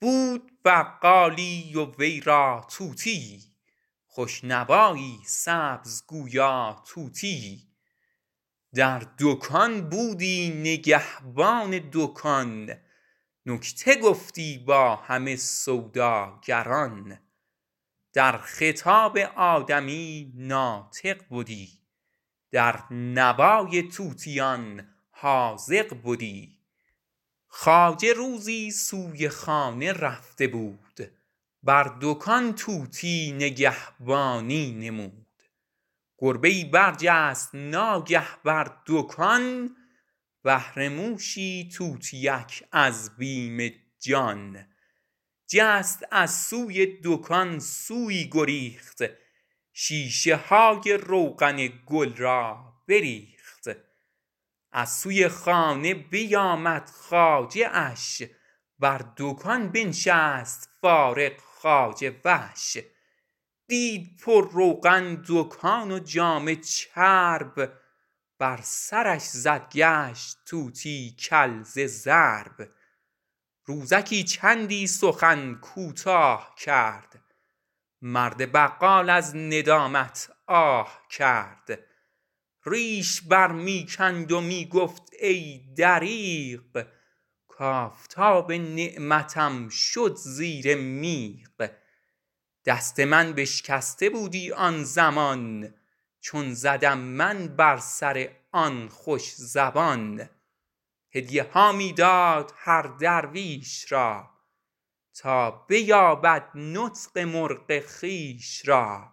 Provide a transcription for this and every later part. بود بقالی و وی را طوطیی خوش نوایی سبز و گویا طوطیی بر دکان بودی نگهبان دکان نکته گفتی با همه سوداگران در خطاب آدمی ناطق بدی در نوای طوطیان حاذق بدی خواجه روزی سوی خانه رفته بود بر دکان طوطی نگهبانی نمود گربه ای برجست ناگه بر دکان بهر موشی طوطیک از بیم جان جست از سوی دکان سویی گریخت شیشه های روغن گل را بریخت از سوی خانه بیامد خواجه اش بر دکان بنشست فارغ خواجه وش دید پر روغن دکان و جامه چرب بر سرش زد گشت طوطی کل ز ضرب روزکی چندی سخن کوتاه کرد مرد بقال از ندامت آه کرد ریش بر می کند و می گفت ای دریغ کافتاب نعمتم شد زیر میغ دست من بشکسته بودی آن زمان که زدم من بر سر آن خوش زبان هدیه ها می داد هر درویش را تا بیابد نطق مرغ خویش را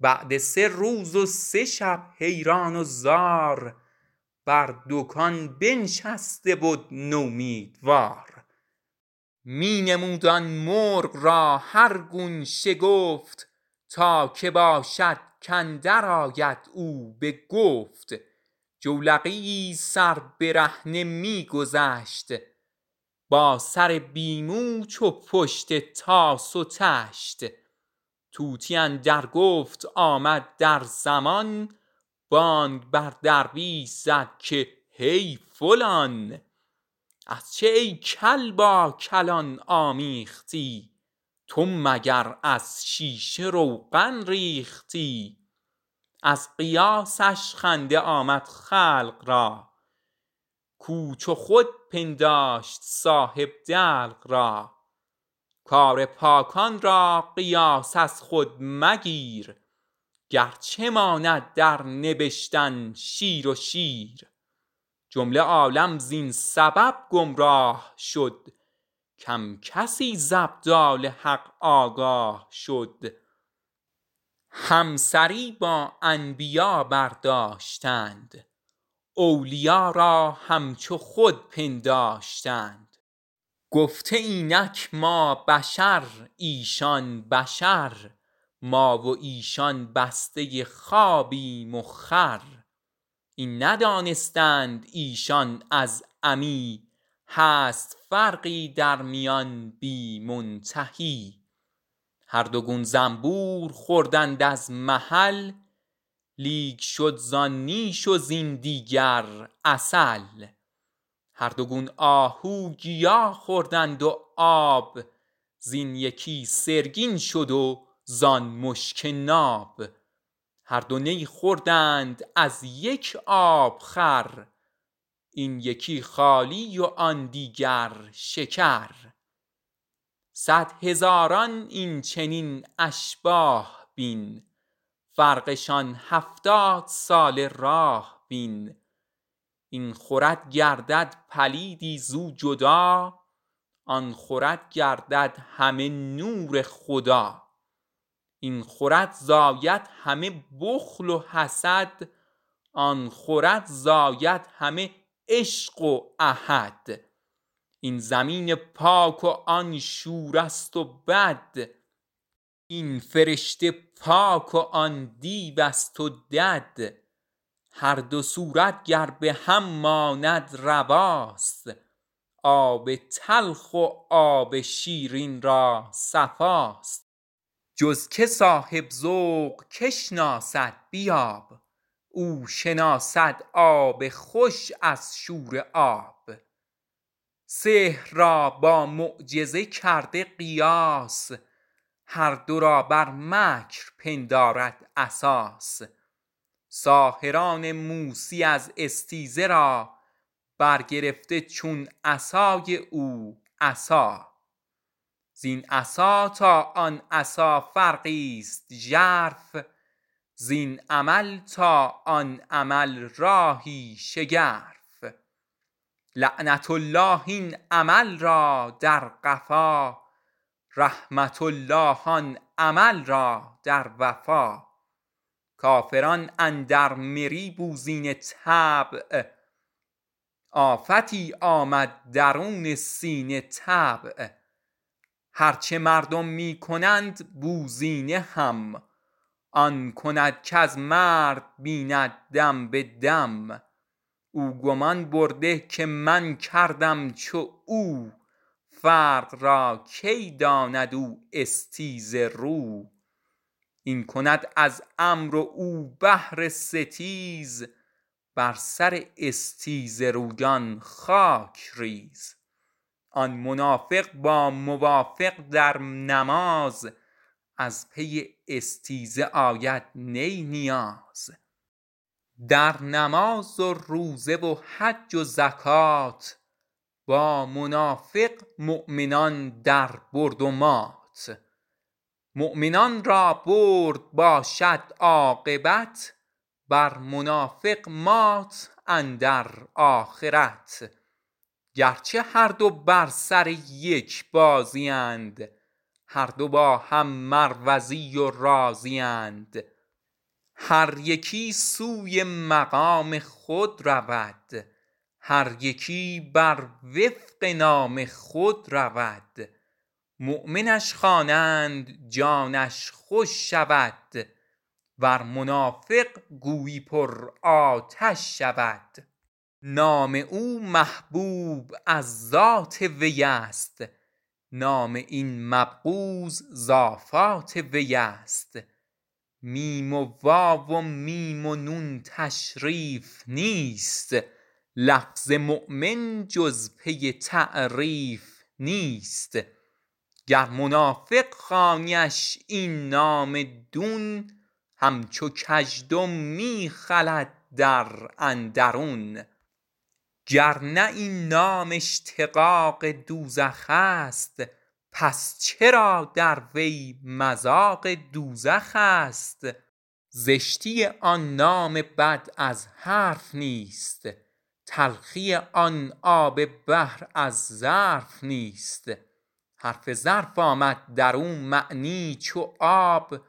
بعد سه روز و سه شب حیران و زار بر دکان بنشسته بد نومیدوار می نمود آن مرغ را هر گون نهفت تا که باشد اندرآید او بگفت جولقیی سر برهنه می گذشت با سر بی مو چو پشت طاس و طشت آمد اندر گفت طوطی آن زمان بانگ بر درویش زد چون عاقلان کز چه ای کل با کلان آمیختی تو مگر از شیشه روغن ریختی از قیاسش خنده آمد خلق را کو چو خود پنداشت صاحب دلق را کار پاکان را قیاس از خود مگیر گرچه ماند در نبشتن شیر و شیر جمله عالم زین سبب گمراه شد کم کسی ز ابدال حق آگاه شد همسری با انبیا برداشتند اولیا را همچو خود پنداشتند گفته اینک ما بشر ایشان بشر ما و ایشان بسته خوابیم و خور این ندانستند ایشان از عمی هست فرقی درمیان بی منتهی هر دو گون زنبور خوردند از محل لیک شد زان نیش و زین دیگر عسل هر دو گون آهو گیا خوردند و آب زین یکی سرگین شد و زان مشک ناب هر دو نی خوردند از یک آب خور این یکی خالی و آن پر از شکر صد هزاران این چنین اشباه بین فرقشان هفتاد ساله راه بین این خورد گردد پلیدی زو جدا آن خورد گردد همه نور خدا این خورد زاید همه بخل و حسد وآن خورد زاید همه نور احد این زمین پاک و آن شوره ست و بد این فرشته پاک و آن دیوست و دد هر دو صورت گر به هم ماند رواست آب تلخ و آب شیرین را صفاست جز که صاحب ذوق کی شناسد بیاب او شناسد آب خوش از شوره آب سحر را با معجزه کرده قیاس هر دو را بر مکر پندارد اساس ساحران موسی از استیزه را برگرفته چون عصای او عصا زین عصا تا آن عصا فرقی ست ژرف زین عمل تا آن عمل راهی شگرف لعنة الله این عمل را در قفا رحمة الله آن عمل را در وفا کافران اندر مری بوزینه طبع آفتی آمد درون سینه طبع هرچه مردم می کند بوزینه هم آن کند کز مرد بیند دم بدم او گمان برده که من کردم چو او فرق را کی داند آن استیزه رو این کند از امر و او بهر ستیز بر سر استیزه رویان خاک ریز آن منافق با موافق در نماز از پی استیزه آید نه نیاز در نماز و روزه و حج و زکات با منافق مؤمنان در برد و مات مؤمنان را برد باشد عاقبت بر منافق مات اندر آخرت گرچه هر دو بر سر یک بازی اند هر دو با هم مروزی و رازی اند هر یکی سوی مقام خود رود هر یکی بر وفق نام خود رود مؤمنش خوانند جانش خوش شود ور منافق تیز و پر آتش شود نام او محبوب از ذات وی است نام این مبغوض از آفات وی است میم و واو و میم و نون تشریف نیست لفظ مؤمن جز پی تعریف نیست گر منافق خوانیش این نام دون همچو کژدم می خلد در اندرون گرنه این نام اشتقاق دوزخست پس چرا در وی مذاق دوزخست زشتی آن نام بد از حرف نیست تلخی آن آب بحر از ظرف نیست حرف ظرف آمد درو معنی چو آب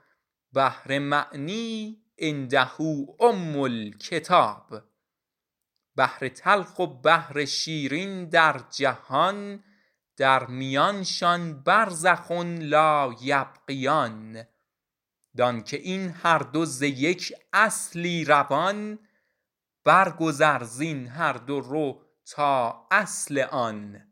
بحر معنی عنده ام الکتاب بحر تلخ و بحر شیرین در جهان در میانشان برزخ لا یبغیان وانگه این هر دو ز یک اصلی روان بر گذر زین هر دو رو تا اصل آن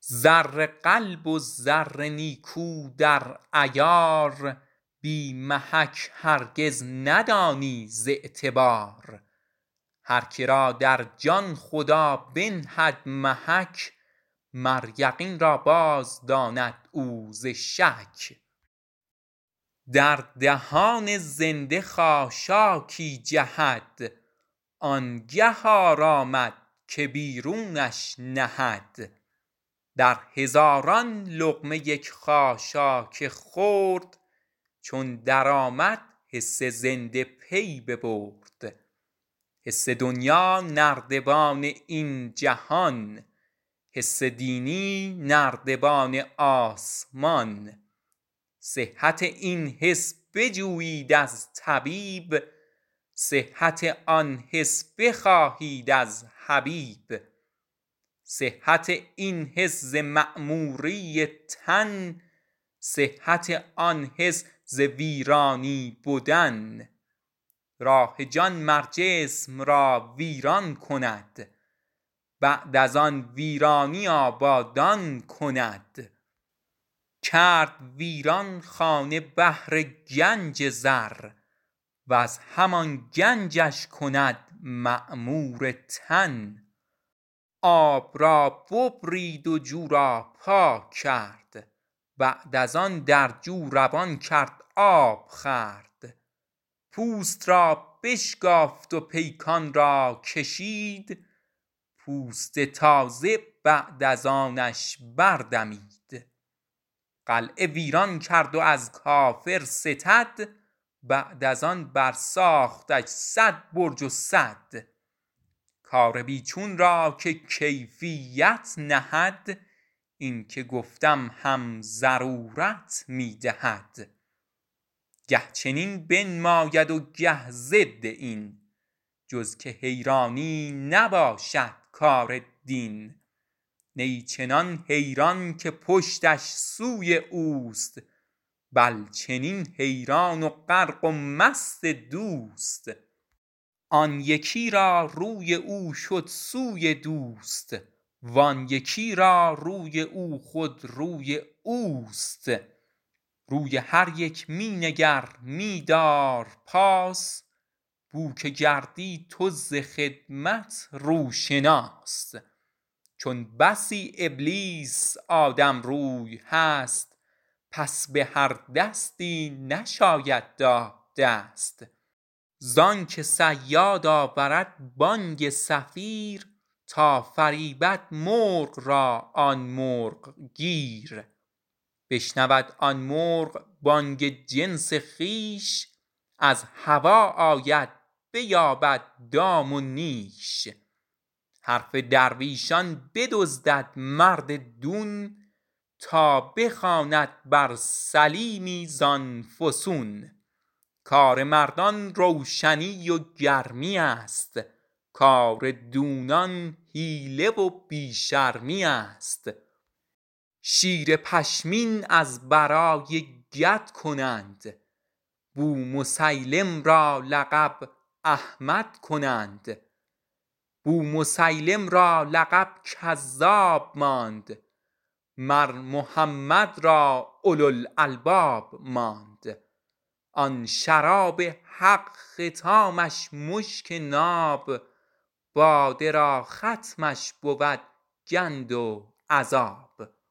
زر قلب و زر نیکو در عیار بی محک هرگز ندانی ز اعتبار هر که را در جان خدا بنهد محک هر یقین را باز داند او ز شک در دهان زنده خاشاکی جهد آنگه آرامد که بیرونش نهد در هزاران لقمه یک خاشاک خرد چون در آمد حس زنده پی ببرد حس دنیا نردبان این جهان حس دینی نردبان آسمان صحت این حس بجویید از طبیب صحت آن حس بجویید از حبیب صحت این حس ز معموری تن صحت آن حس ز تخریب بدن راه جان مر جسم را ویران کند بعد از آن ویرانی آبادان کند کرد ویران خانه بهر گنج زر وز همان گنجش کند معمورتر آب را ببرید و جو را پاک کرد بعد از آن در جو روان کرد آب خورد پوست را بشکافت و پیکان را کشید پوست تازه بعد از آنش بر دمید قلعه ویران کرد و از کافر ستد بعد از آن بر ساختش صد برج و سد کار بی چون را که کیفیت نهد اینک گفتم این ضرورت می دهد گه چنین بنماید و گه ضد این جز که حیرانی نباشد کار دین نه چنان حیران که پشتش سوی اوست بل چنان حیران و غرق و مست دوست آن یکی را روی او شد سوی دوست وان یکی را روی او خود روی اوست روی هر یک می نگر می دار پاس بوک گردی تو ز خدمت روشناس چون بسی ابلیس آدم روی هست پس به هر دستی نشاید داد دست زانک صیاد آورد بانگ صفیر تا فریبد مرغ را آن مرغ گیر بشنود آن مرغ بانگ جنس خویش از هوا آید بیابد دام و نیش حرف درویشان بدزدد مرد دون تا بخواند بر سلیمی زان فسون کار مردان روشنی و گرمیست کار دونان حیله و بی شرمیست شیر پشمین از برای کد کنند بومسیلم را لقب احمد کنند بومسیلم را لقب کذاب ماند مر محمد را اولو الالباب ماند آن شراب حق ختامش مشک ناب باده را ختمش بود گند و عذاب